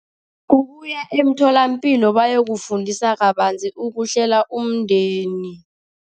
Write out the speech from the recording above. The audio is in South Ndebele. Ukuya emtholampilo bayokufundisa kabanzi ukuhlela umndeni.